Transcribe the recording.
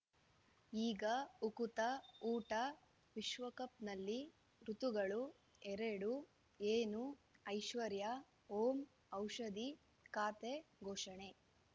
ಈಗ ಉಕುತ ಊಟ ವಿಶ್ವಕಪ್‌ನಲ್ಲಿ ಋತುಗಳು ಎರಡು ಏನು ಐಶ್ವರ್ಯಾ ಓಂ ಔಷಧಿ ಖಾತೆ ಘೋಷಣೆ